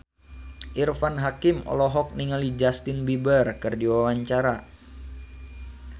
Irfan Hakim olohok ningali Justin Beiber keur diwawancara